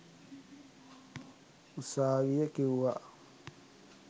උසාවිය කිවුවා